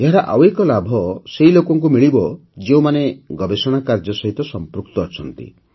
ଏହାର ଆଉ ଏକ ଲାଭ ସେହି ଲୋକଙ୍କୁ ମିଳିବ ଯେଉଁମାନେ ଗବେଷଣା କାର୍ଯ୍ୟ ସହିତ ସଂପୃକ୍ତ ଅଛନ୍ତି